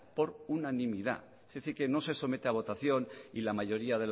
por unanimidad es decir que no se somete a votación y la mayoría